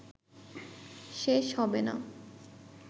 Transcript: শেষ হবেনা